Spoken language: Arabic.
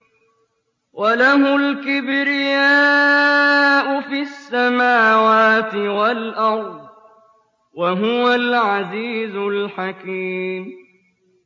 وَلَهُ الْكِبْرِيَاءُ فِي السَّمَاوَاتِ وَالْأَرْضِ ۖ وَهُوَ الْعَزِيزُ الْحَكِيمُ